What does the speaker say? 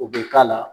O bɛ k'a la